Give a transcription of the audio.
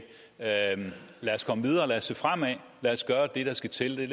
lad os komme videre lad os se fremad lad os gøre det der skal til det